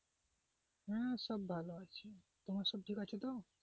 হম সব ভালোই তোমার সব ঠিক আছে তো?